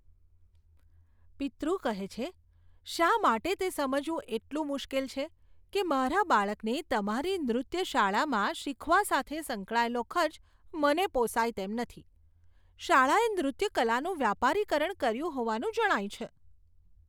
પિતૃ કહે છે, શા માટે તે સમજવું એટલું મુશ્કેલ છે કે મારા બાળકને તમારી નૃત્ય શાળામાં શીખવા સાથે સંકળાયેલો ખર્ચ મને પોસાય તેમ નથી? શાળાએ નૃત્ય કલાનું વ્યાપારીકરણ કર્યું હોવાનું જણાય છે.